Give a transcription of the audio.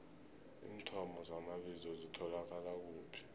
iinthomo zamabizo zitholakala kuphi